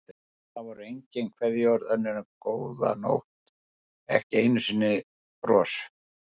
Það voru engin kveðjuorð önnur en góða nótt, ekki einu sinni bros.